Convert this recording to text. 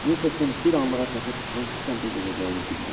Niklson bir anlığa çaşıb hansı səmtə gedəcəyini bilmədi.